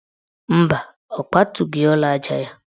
Mba, ọ kwatughi ụlọaja ya.